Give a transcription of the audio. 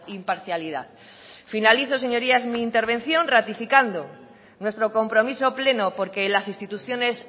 imparcialidad finalizo señorías mi intervención ratificando nuestro compromiso pleno porque las instituciones